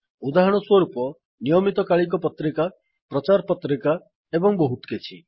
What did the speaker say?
ଉଦାହରଣସ୍ୱରୂପ ନିୟମିତକାଳିକ ପତ୍ରିକା ପ୍ରଚାର ପତ୍ରିକା ଏବଂ ବହୁତ କିଛି